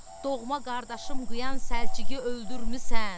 Doğma qardaşım qıyan Səlciqi öldürmüsən.